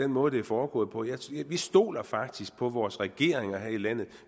måde det er foregået på vi stoler faktisk på vores regeringer her i landet og